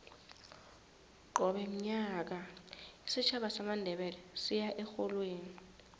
qobe nyaka isitjhaba samandebele siya erholweni